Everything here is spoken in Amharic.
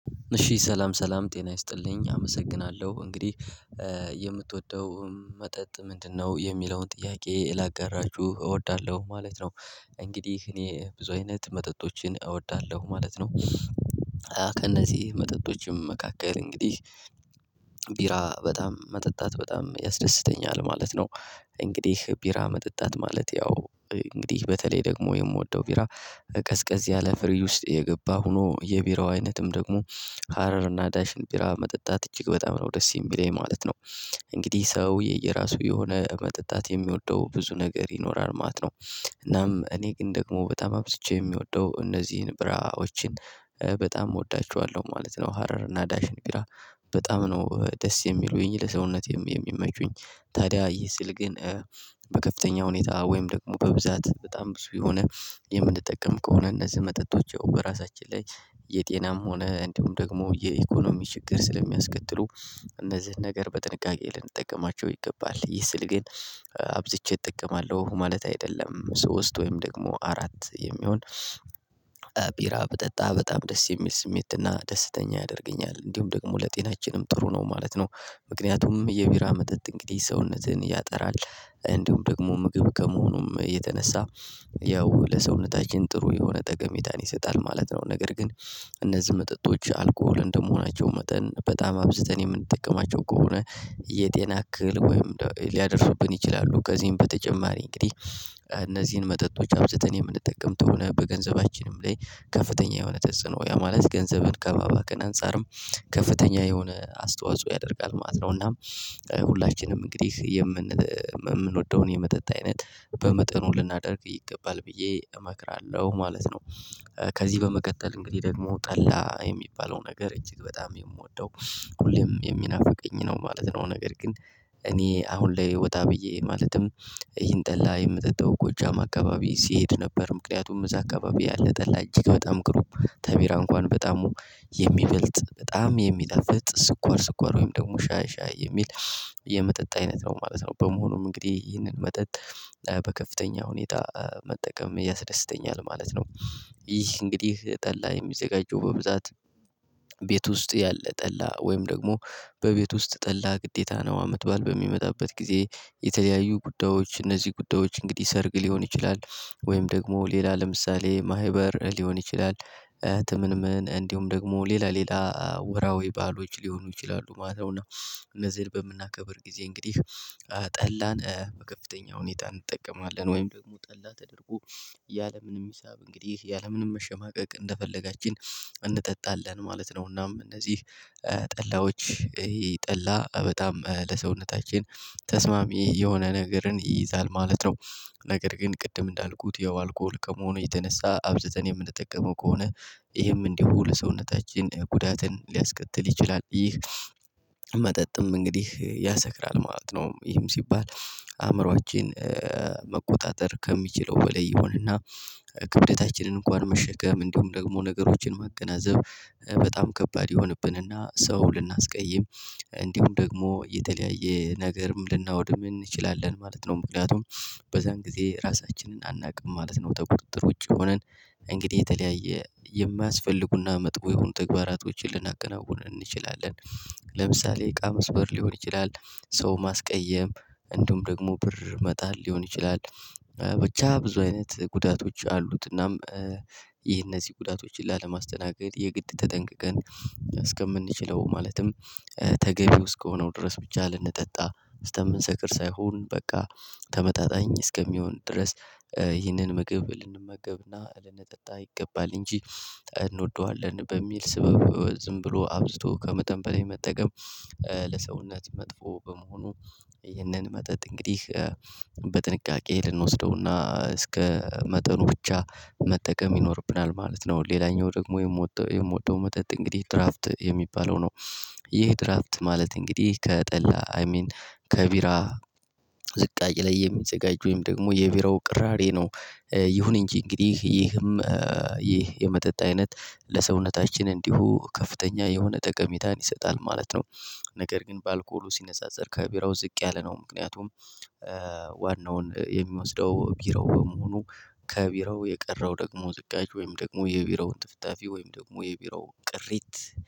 እሺ ሰላም ሰላም ጤና ይስጥልኝ አመሰግናለሁ እንግዲህ የምትወደው መጠጥ ምንድነው? የሚለውን ጥያቄ ላጋራችሁ እወዳለሁ ማለት ነው። እንግዲህ እኔ ብዙ አይነት መጠጦችን እወዳለሁ ማለት ነው። ከነዚህ መጠጦችም መካከል እንግዲህ ቢራ በጣም መጠጣት በጣም ያስደስተኛል ማለት ነው። እንግዲህ ቢራ መጠጣት ማለት ያው እንግዲህ በተለይ ደግሞ የምወደው ቢራ ቀዝ ቀዝ ያለ ፍሪጅ ውስጥ የገባ ሆኖ የቢራው አይነትም ደግሞ ሀረር እና ዳሽን ቢራ መጠጣት እጅግ በጣም ነው ደስ የሚለኝ ማለት ነው። እንግዲህ ሰው የየራሱ የሆነ መጠጣት የሚወደው ብዙ ነገር ይኖራል ማለት ነው። እናም እኔ ግን ደግሞ በጣም አብዝቼ የምወደው እነዚህን ቢራዎችን በጣም እወዳቸዋለሁ ማለት ነው። ሀረር እና ዳሽን ብራ በጣም ነው ደስ የሚሉኝ ለሰውነቴም የሚመቹኝ። ታዲያ ይህ ስል ግን በከፍተኛ ሁኔታ ወይም ደግሞ በብዛት በጣም ብዙ የሆነ የምንጠቀም ከሆነ እነዚህ መጠጦች በራሳችን ላይ የጤናም ሆነ እንዲሁም ደግሞ የኢኮኖሚ ችግር ስለሚያስከትሉ እነዚህን ነገር በጥንቃቄ ልንጠቀማቸው ይገባል። ይህ ስል ግን አብዝቼ እጠቀማለሁ ማለት አይደለም። ሶስት ወይም ደግሞ አራት የሚሆን ቢራ ብጠጣ በጣም ደስ የሚል ስሜትና ደስተኛ ያደርገኛል እንዲሁም ደግሞ ለጤናችንም ጥሩ ነው ማለት ነው። ምክንያቱም የቢራ መጠጥ እንግዲህ ሰውነትህን ያጠራል እንዲሁም ደግሞ ምግብ ከመሆኑም የተነሳ ያው ለሰውነታችን ጥሩ የሆነ ጠቀሜታን ይሰጣል ማለት ነው። ነገር ግን እነዚህ መጠጦች አልኮል እንደመሆናቸው መጠን በጣም አብዝተን የምንጠቀማቸው ከሆነ የጤና አክል ወይም ሊያደርሱብን ይችላሉ። ከዚህም በተጨማሪ እንግዲህ እነዚህን መጠጦች አብዝተን የምንጠቀምተው በገንዘባችንም ላይ ከፍተኛ የሆነ ተጽዕኖ ያ ማለት ገንዘብን ከማባክን አንፃርም ከፍተኛ የሆነ አስተዋጽኦ ያደርጋል ማለት ነውና። ሁላችንም እንግዲህ የምንወደውን የመጠጥ አይነት በመጠኑ ልናደርግ ይገባል ብዬ እመክራለሁ ማለት ነው። ከዚህ በመቀጠል እንግዲህ ደግሞ ጠላ የሚባለው ነገር እጅግ በጣም የምወደው ሁሌም የሚናፍቀኝ ነው ማለት ነው። ነገር ግን እኔ አሁን ላይ ወጣ ብዬ ማለትም ይህን ጠላ የምጠጣው ጎጃም አካባቢ ሲሄድ ነበር። ምክንያቱም እዛ አካባቢ ያለ ጠላ እጅግ በጣም ግሩም ተቢራ እንኳን በጣም የሚበልጥ በጣም የሚጣፍጥ ስኳር ስኳር ወይም ደግሞ ሻይ ሻይ የሚል የመጠጥ አይነት ነው ማለት ነው። በመሆኑም እንግዲህ ይህንን መጠጥ በከፍተኛ ሁኔታ መጠቀም ያስደስተኛል ማለት ነው። ይህ እንግዲህ ጠላ የሚዘጋጀው በብዛት ቤት ውስጥ ያለ ጠላ ወይም ደግሞ በቤት ውስጥ ጠላ ግዴታ ነው። አመት ባል በሚመጣበት ጊዜ የተለያዩ ጉዳዮች እነዚህ ጉዳዮች እንግዲህ ሰርግ ሊሆን ይችላል ወይም ደግሞ ሌላ ለምሳሌ ማህበር ሊሆን ይችላል ትምምን እንዲሁም ደግሞ ሌላ ሌላ ወራዊ ባሎች ሊሆኑ ይችላሉ ማለት ነው። እና እነዚህን በምናከብር ጊዜ እንግዲህ ጠላን በከፍተኛ ሁኔታ እንጠቀማለን ወይም ደግሞ ጠላ ተደርጎ ያለምንም ሂሳብ እንግዲህ ያለምንም መሸማቀቅ እንደፈለጋችን እንጠጣለን ማለት ነው። እናም እነዚህ ጠላዎች ጠላ በጣም ለሰውነታችን ተስማሚ የሆነ ነገርን ይይዛል ማለት ነው። ነገር ግን ቅድም እንዳልኩት ያው አልኮል ከሆነ የተነሳ አብዝተን የምንጠቀመው ከሆነ ይሄም እንዲሁ ለሰውነታችን ጉዳትን ሊያስከትል ይችላል። ይህ መጠጥም እንግዲህ ያሰክራል ማለት ነው። ይህም ሲባል አእምሮአችን መቆጣጠር ከሚችለው በላይ ይሆንና ክብደታችንን እንኳን መሸከም እንዲሁም ደግሞ ነገሮችን መገናዘብ በጣም ከባድ ይሆንብንና ሰው ልናስቀይም እንዲሁም ደግሞ የተለያየ ነገርም ልናወድም እንችላለን ማለት ነው። ምክንያቱም በዚያን ጊዜ ራሳችንን አናውቅም ማለት ነው። ተቁጥጥር ውጪ ሆነን እንግዲህ የተለያየ የማያስፈልጉና መጥፎ የሆኑ ተግባራቶችን ልናከናውን እንችላለን። ለምሳሌ እቃ መስበር ሊሆን ይችላል። ሰው ማስቀየም እንዲውም ደግሞ ብር መጣል ሊሆን ይችላል። ብቻ ብዙ አይነት ጉዳቶች አሉትናም። ይህ እነዚህ ጉዳቶችን ላለማስተናገድ የግድ ተጠንቅቀን እስከምንችለው ማለትም ተገቢ ውስጥ ከሆነው ድረስ ብቻ ልንጠጣ ስተምንሰክር ሳይሆን በቃ ተመጣጣኝ እስከሚሆን ድረስ ይህንን ምግብ ልንመገብና ልንጠጣ ይገባል። እንጂ እንወደዋለን በሚል ስበብ ዝም ብሎ አብዝቶ ከመጠን በላይ መጠቀም። ለሰውነት መጥፎ በመሆኑ ይህንን መጠጥ እንግዲህ በጥንቃቄ ልንወስደውና እስከ መጠኑ ብቻ መጠቀም ይኖርብናል ማለት ነው። ሌላኛው ደግሞ የምወደው የምወደው መጠጥ እንግዲህ ድራፍት የሚባለው ነው። ይህ ድራፍት ማለት እንግዲህ ከጠላ አይ ሚን ከቢራ ዝቃጭ ላይ የሚዘጋጅ ወይም ደግሞ የቢራ ቅራሬ ነው። ይሁን እንጂ እንግዲህ ይህም ይህ የመጠጥ አይነት ለሰውነታችን እንዲሁ ከፍተኛ የሆነ ጠቀሜታን ይሰጣል ማለት ነው። ነገር ግን በአልኮሉ ሲነጻጸር ከቢራው ዝቅ ያለ ነው። ምክንያቱም ዋናውን የሚወስደው ቢራው በመሆኑ ከቢራው የቀረው ደግሞ ዝቃጭ ወይም ደግሞ የቢራውን ጥፍጣፊ ወይም ደግሞ የቢራው ቅሪት